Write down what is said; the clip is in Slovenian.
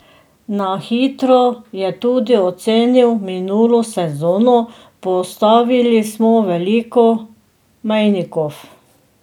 Na hitro je tudi ocenil minulo sezono: "Postavili smo veliko mejnikov.